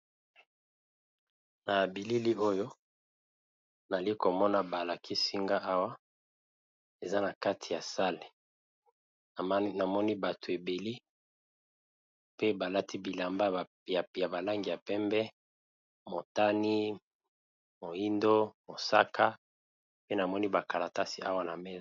Na bilili oyo na zali ko mona ba lakisi nga awa, eza na kati ya sale na moni bato ébélé pe ba lati bilamba ya ba langi ya pembe, motane, moyindo, mosaka pe na moni ba kalitasi awa na mesa .